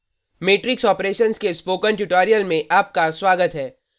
matrix operations के spoken tutorial में आपका स्वागत है